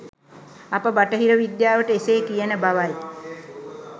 අප බටහිර විද්‍යාවට එසේ කියන බවයි